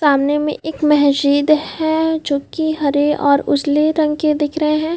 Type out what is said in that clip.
सामने में एक मस्जिद है जोकि हरे और उजले रंग के दिख रहे हैं ।